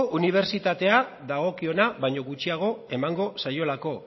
unibertsitatera dagokiona baino gutxiago emango zaiolako